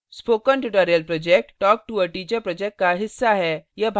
spoken tutorial project talktoa teacher project का हिस्सा है